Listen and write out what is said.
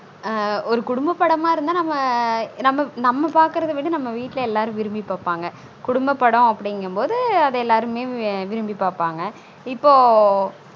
இப்பொ ஆன் ஒரு குடும்ப படமா இருந்தா நம்ம நம்ம பாக்குறத விட நம்ம வீட்ல எல்லாரும் விரும்பி பாப்பாங்க குடும்ப படம் அப்டிங்கும் போதுஅத எல்லாருமே வென் விரும்பி பாப்பாங்க